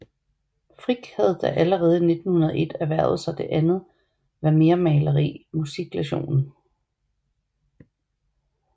Frick havde da allerede i 1901 erhvervet sig det andet vermeermaleri Musiklektionen